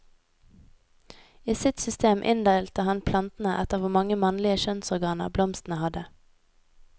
I sitt system inndelte han plantene etter hvor mange mannlige kjønnsorganer blomstene hadde.